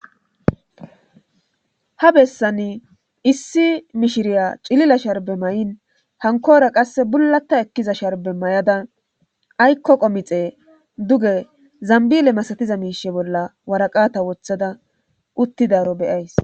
Ha besani issi mishiriya cilila sharbbe mayin hankora qasse bulata ekkida sharbe mayda aykko qomixxe duge zambile masatiza miisha bolla waraqata wothada utidaaro be'ays.